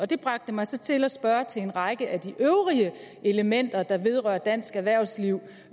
det bragte mig så til at spørge til en række af de øvrige elementer der vedrører dansk erhvervsliv